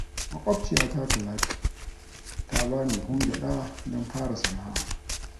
maƙwabciya ta Talatu ta bani buhun gyada don fara sana'a